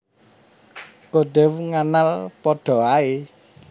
Kodew nganal padha ae